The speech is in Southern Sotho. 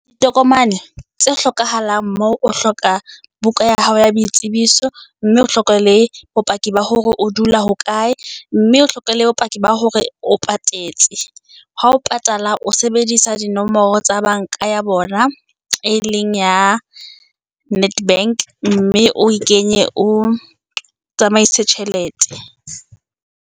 Ditokomane tse hlokahalang moo, o hloka buka ya hao ya boitsebiso, mme o hlokomele bopaki ba hore o dula hokae, mme o hlokomele bopaki ba hore o patetse. Ha o patala o sebedisa dinomoro tsa banka ya bona, e leng ya netbank, mme o kenye o tsamaise tjhelete.